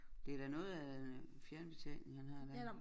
Det da noget af fjernbetjening han har der